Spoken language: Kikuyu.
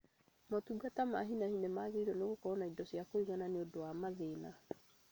Motungata ma hi na hi nĩmagĩrĩirwo nĩ gũkorwo na indo cia kũigana nĩũndu wa mathina